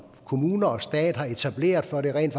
kommuner og stat har etableret for at det rent